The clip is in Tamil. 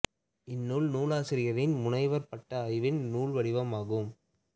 இந்நூல் நூலாசிரியரின் முனைவர்ப் பட்ட ஆய்வின் நூல் வடிவம் ஆகும்